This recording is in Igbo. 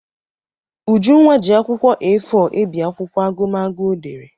Ujunwa ji akwụkwọ A4 ebi akwụkwọ agụmagụ ọ dere.